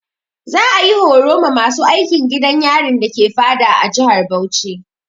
Za'a yi horo ma masu aikin gidan yarin dake Fada a jihar Bauchi.